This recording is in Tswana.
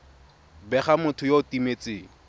bega motho yo o timetseng